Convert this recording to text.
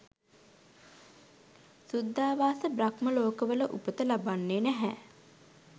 සුද්ධාවාස බ්‍රහ්ම ලෝකවල උපත ලබන්නේ නැහැ.